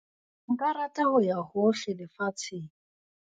Nka rata ho ya hohle lefatsheng.